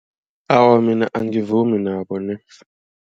Awa mina angivumi nabo nex.